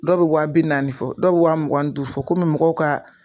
Dɔw bɛ wa bi naani fɔ dɔw bɛ wa mugan duuru fɔ kɔmi mɔgɔw ka